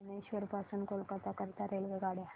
भुवनेश्वर पासून कोलकाता करीता रेल्वेगाड्या